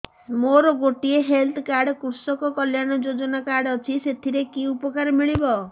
ମୋର ଗୋଟିଏ health card କୃଷକ କଲ୍ୟାଣ ଯୋଜନା କାର୍ଡ ଅଛି ସାଥିରେ କି ଉପକାର ମିଳିବ